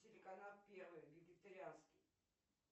телеканал первый вегетарианский